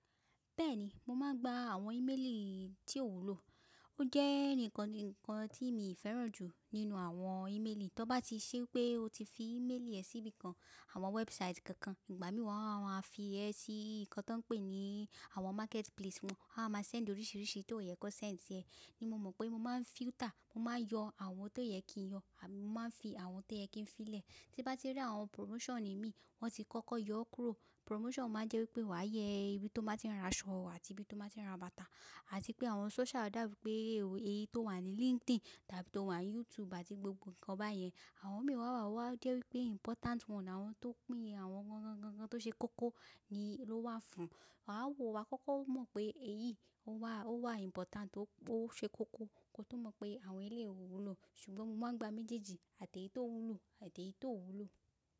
Bẹ́ẹ̀ni, mo máa ń gba àwọn íméelì tí ó wúlò. Ó jẹ́ ǹkan tí mi féràn jù nínú àwọn ímeélì. Tọ bá ti ṣe pé o ti fi ímeélì ẹ síbi kan, àwọn wẹ́ẹ̀búsáìtì kankan, ìgbà mí wọ́n á fi ẹ sí ǹkan tí wọ́n ń pè ní àwọn mákẹ́tí pílesì, wọ́n á máa sẹ́ẹ̀ndì oríṣìíríṣìí tí ó yẹ kan sẹ́ẹ̀ndì sì ẹ. Ni mo mọ̀ pé mo máa ń fílítà, mo máa ń yọ àwọn tó yẹ kí n yọ, àbí mo máa ń fi àwọn tó yẹ kí n fi lẹ̀. Tí bá ti rí àwọn pùrómọ́sàn ní mi, wọ́n ti kọ́kọ́ yọ kúrò. Pùrómọ́sàn máa ń jẹ́ wípé wà yẹ ìbí tó máa ń rán aṣọ àti ìbí tó máa ń rán bàtà, àti pé àwọn sóṣúá, dá bi pé èyí tó wà ní LinkedIn tàbí tó wà ní YouTube àti gbogbo ǹkan báyẹn. Àwọn mì wáwá wá jẹ́ wípé ímpọtánt wọ́n, àwọn tó pín àwọn ǹkan tó ṣe kókó ni ló wà fún. A á wo wa kókó mọ̀ pé èyí ó wà ímpọtánt ó ṣe kókó kó tó mọ̀ pé àwọn eléyìí ò wúlò. Ṣùgbọ́n mo máa ń gba méjèèjì àti èyí tó wúlò àti èyí tó wúlò.